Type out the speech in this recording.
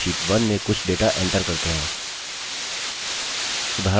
अब sheet 1 में कुछ data enter करते हैं